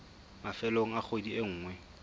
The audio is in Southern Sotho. mafelong a kgwedi e nngwe